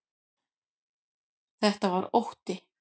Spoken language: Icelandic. Þetta var ótti.